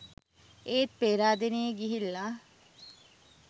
ඒත් පේරාදෙනියෙ ගිහිල්ල